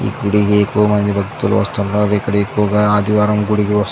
ఈ గుడికి ఎక్కువమంది భక్తులు వస్తుంటారు. ఇక్కడ ఎక్కువగా ఆదివారం గుడికి --